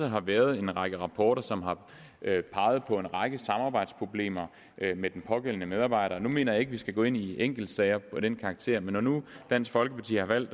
har været en række rapporter som har peget på en række samarbejdsproblemer med den pågældende medarbejder jeg mener ikke vi skal gå ind i enkeltsager af den karakter men når nu dansk folkeparti har valgt